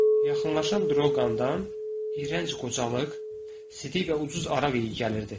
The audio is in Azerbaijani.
Yaxınlaşan Drolqamdan iyrənc qocalıq, sidik və ucuz araq iyi gəlirdi.